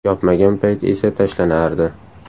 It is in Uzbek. Yopmagan payti esa tashlanardi.